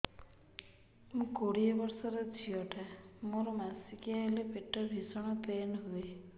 ମୁ କୋଡ଼ିଏ ବର୍ଷର ଝିଅ ଟା ମୋର ମାସିକିଆ ହେଲେ ପେଟ ଭୀଷଣ ପେନ ହୁଏ